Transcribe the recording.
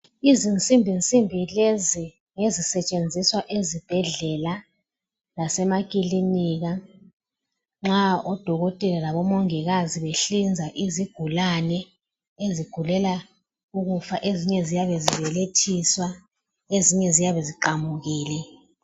Izinsimbinsimbi lezi ngezisetshenziswa ezibhedlela lasemakilinika nxa odokotela labomongikazi behlinza izigulane ezigulela ukufa ezinye ziyabe zibelethiswa ezinye ziyabe ziqamukile.